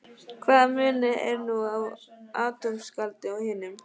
Hvaða munur er nú á atómskáldi og hinum?